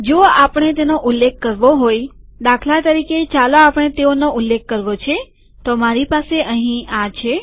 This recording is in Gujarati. જો આપણે તેનો ઉલ્લેખ કરવો હોયદાખલા તરીકેચાલો આપણે તેઓનો ઉલ્લેખ કરવો છે તો મારી પાસે અહીં આ છે